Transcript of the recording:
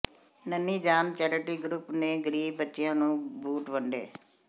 ਨੰਨ੍ਹੀ Jaan charity group ਨੇ ਗਰੀਬ ਬੱਚਿਆਂ ਨੂੰ ਬੂਟ ਵੰਡੇ